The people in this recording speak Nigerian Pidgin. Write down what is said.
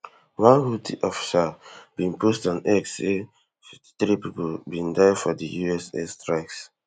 one houthi official bin post on x say fifty-three pipo bin diefor di us air strikes